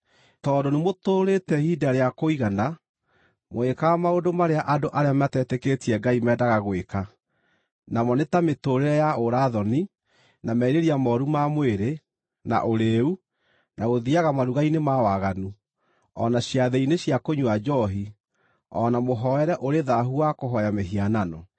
Tondũ nĩmũtũũrĩte ihinda rĩa kũigana mũgĩkaga maũndũ marĩa andũ arĩa matetĩkĩtie Ngai mendaga gwĩka, namo nĩ ta mĩtũũrĩre ya ũũra-thoni, na merirĩria mooru ma mwĩrĩ, na ũrĩĩu, na gũthiiaga maruga-inĩ ma waganu, o na ciathĩ-inĩ cia kũnyua njoohi, o na mũhooere ũrĩ thaahu wa kũhooya mĩhianano.